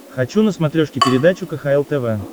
хочу на смотрешке передачу кхл тв